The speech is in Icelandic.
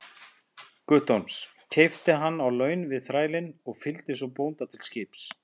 Guttorms, keypti hann á laun við þrælinn og fylgdi svo bónda til skips.